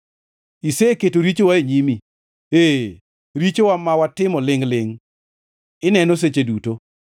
Iseketo richowa e nyimi, ee, richowa ma watimo lingʼ-lingʼ ineno seche duto.